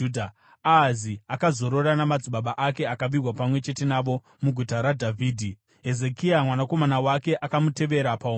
Ahazi akazorora namadzibaba ake akavigwa pamwe chete navo muGuta raDhavhidhi. Hezekia mwanakomana wake akamutevera paumambo.